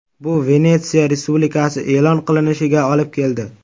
Bu Venetsiya respublikasi e’lon qilinishiga olib keldi.